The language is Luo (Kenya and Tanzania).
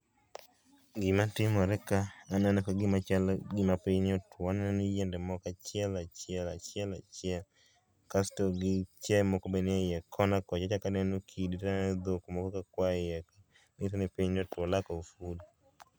gima timore ka aneno kagima chalo gima piny otuo. aneno ni yiende moko achiel achiel achiel achiel kasto gi chiae moko be nie iye kona kocha achaka aneno dhok moko ka kwae for lack of food.